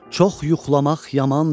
Çox yuxlamaq yamandır.